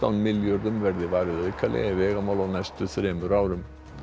milljörðum verði varið aukalega í vegamál á næstu þremur árum